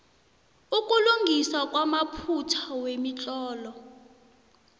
ukulungiswa kwamaphutha wemitlolo